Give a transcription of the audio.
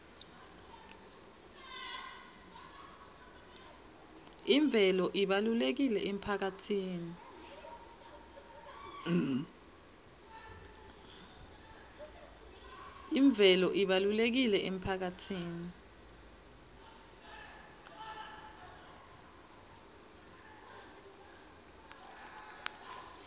imvelo ibalulekile emphakatsini